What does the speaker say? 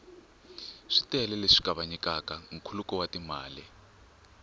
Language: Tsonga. switele leswi kavanyetaka nkhuluko wa timali